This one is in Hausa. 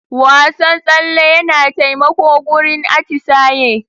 Wasan tsale yana taimako gurin atisaye.